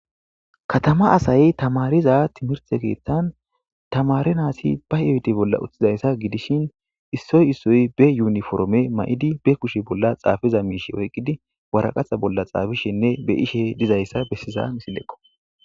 katama asayey tamariza timirte keeththan tamare naasi ba oyde bolla utizaysa gidishin issoy issoy be yuniforme ma'idi be kushe bolla xaafiza miishe oyqqidi waraqaha bolla xaafishinne be'ishe dizayssa bessiza misileko.